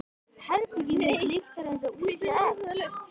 Herbergið mitt lyktar einsog úldið egg.